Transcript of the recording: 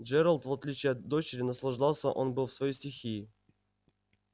джералд в отличие от дочери наслаждался он был в своей стихии